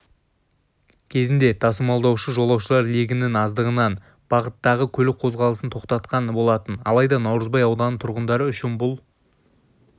кезінде тасымалдаушы жолаушылар легінің аздығынан бағыттағы көлік қозғалысын тоқтатқан болатын алайда наурызбай ауданының тұрғындары үшін бұл